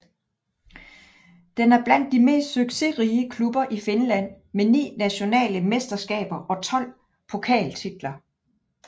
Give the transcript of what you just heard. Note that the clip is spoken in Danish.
Den er blandt de mest succesrige klubber i Finland med ni nationale mesterskaber og 12 pokaltitler